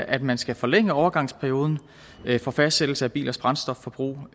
at man skal forlænge overgangsperioden for fastsættelse af bilers brændstofforbrug